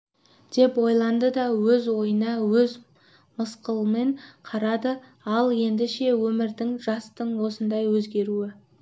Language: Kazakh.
деп ойланды да өз ойына өзі мысқылмен қарады ал енді ше өмірдің жастың осылай өзгеруі